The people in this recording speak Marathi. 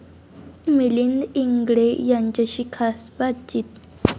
मिलिंद इंगळे यांच्याशी खास बातचीत